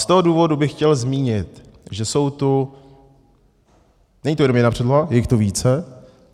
Z toho důvodu bych chtěl zmínit, že jsou tu - není to jenom jedna předloha, je jich tu více.